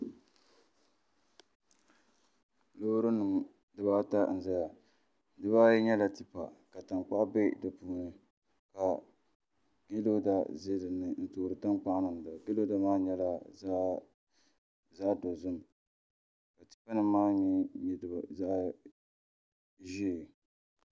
Loori nim dubaata n ʒɛya bibaayi nyɛla tipa ka tankpaɣu bɛ di puuni ka piirooda ʒɛ dinni n toori tankpaɣu niŋda piiroda maa nyɛla zaɣ dozim ka tipa nim maa nyɛ zaɣ ʒiɛ